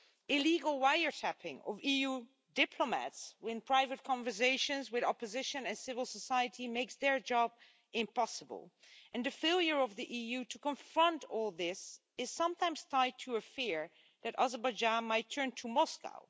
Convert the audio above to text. Illegal wiretapping of EU diplomats in private conversations with opposition and civil society makes their job impossible, and the failure of the EU to confront all this is sometimes tied to a fear that Azerbaijan may turn to Moscow.